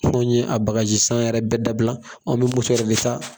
Anw ye a bagaji san yɛrɛ bɛɛ dabila an bɛ muso yɛrɛ de sa